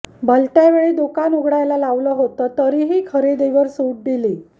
भलत्या वेळी दुकान उघडायला लावलं होतं तरीही खरेदीवर सूट दिली